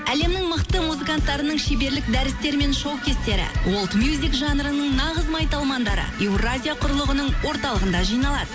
әлемнің мықты музыканттарының шеберлік дәрістері мен шоу кестері уолд мюзик жанрының нағыз майталмандары еуразия құрылғының орталығында жиналады